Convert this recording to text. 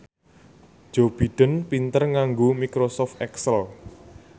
Joe Biden pinter nganggo microsoft excel